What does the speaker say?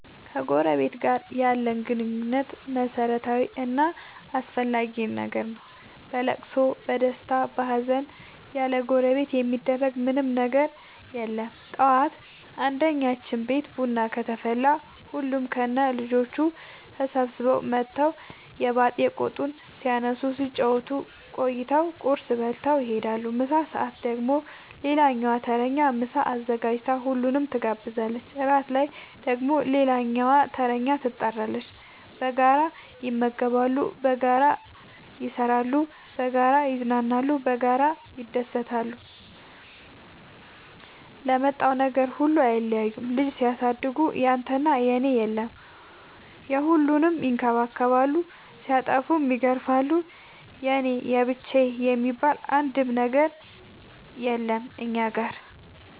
ከጎረበት ጋር ያለን ግንኙነት መረታዊ እና አስፈላጊ ነገር ነው። በለቅሶ በደስታ በሀዘን ያለጎረቤት የሚደረግ ምን ምንም ነገር የለም ጠዋት አንድኛችን ቤት ቡና ከተፈላ ሁሉም ከነ ልጆቹ ተሰብስበው መተው የባጥ የቆጡን ሲያነሱ ሲጫወቱ ቆይተው ቁርስ በልተው ይሄዳሉ። ምሳ ሰአት ደግሞ ሌላኛዋ ተረኛ ምሳ አዘጋጅታ ሁሉንም ትጋብዛለች። እራት ላይ ደግሞ ሌላኛዋተረኛ ትጣራለች። በጋራ ይመገባሉ በጋራ ይሰራሉ። በጋራ ያዝናሉ በጋራ ይደሰታሉ ለመጣው ነገር ሁሉ አይለያዩም ልጅ ሲያሳድጉ ያንተና የኔ የለም የሁሉንም ይከባከባሉ ሲጠፉም ይገርፋሉ የኔ የብቻዬ የሚባል አንድም ነገር የለም እኛ ጋር።